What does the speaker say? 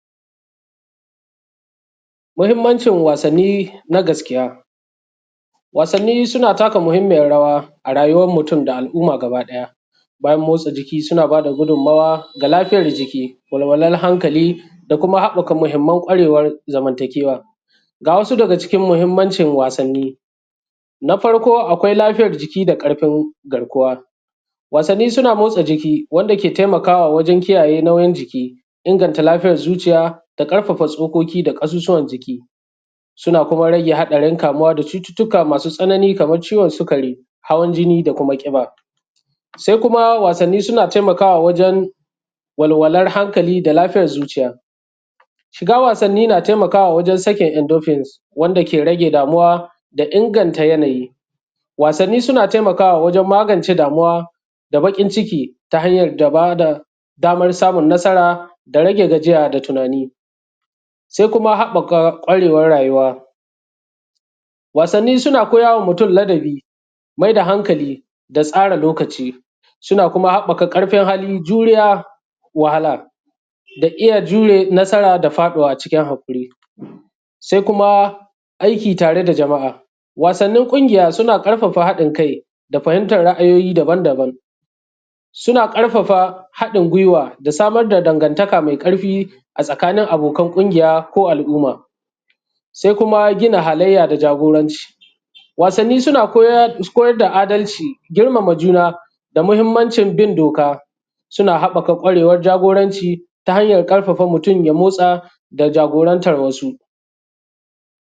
mahimmancin wasanni na gaskiya wasanni suna taka mahimmiyar rawa a rayuwar mutum da al'uma gaba daya bayan motsa jiki suna bada gudun mawa ga lafiyar jiki walwalal hankali da kuma habbaka mahimman kwarewar zamantakewa ga wasu daga cikin mahimmancin wasanni na farko akwai lafiyar jiki da karfi garkuwa wasanni suna motsa jiki wanda ke taimakawa wajan kiyaye nauyin jiki inganta lafiyar zuciya da karfafa tsokoki da kashushuwan jiki suna kuma rage hadarin kamuwa da cututtuka masu tsanani kamar ciwan sikari hawan jini da kuma kiba sai kuma wasanni suna taimakawa wajan walwalar hankali da lafiyar zuciya shiga wasanni na taimakawa wajan sakin endopens wanda ke rage damuwa da inganta yanayi wasanni suna taimakawa wajan magance damuwa da bakin ciki ta hanyar bada damar samun nasara da rage gajiya da tunani sai kuma um habbaka kwarewar rayuwa um wasanni suna koya wa mutum ladabi maida hankali da tsara lokaci suna kuma habbaka karfin hali juriya wahala da iya jure nasara da faduwa a cikin hakuri sai kuma aiki tare da jama'a wasannin kungiya suna karfafa hadin kai da fahimtar ra'ayoyi daban daban suna karfafa hadin gwiwa da samar da dangantaka mai karfi a tsakanin abokan kungiya ko al'uma um sai kuma gina halayya da jagoranci wasanni suna koya koyadda adalci girmama juna da muhimmancin bin doka suna habbaka kwarewar jagoranci ta hanyar karfafa mutum ya motsa da jagorantar wasu